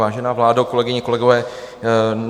Vážená vládo, kolegyně, kolegové.